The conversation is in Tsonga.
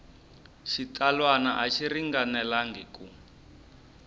xitsalwana a xi ringanelangi ku